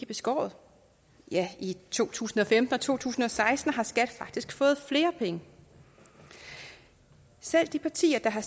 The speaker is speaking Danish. beskåret ja i to tusind og femten og to tusind og seksten har skat faktisk fået flere penge og selv de partier der har